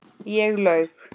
Ég laug.